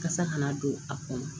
Kasa kana don a kɔnɔ